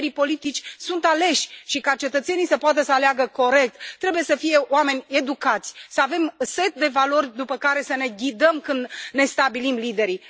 Liderii politici sunt aleși, și ca cetățenii să poată să aleagă corect, trebuie să fie oameni educați, să avem un set de valori după care să ne ghidăm când ne stabilim liderii.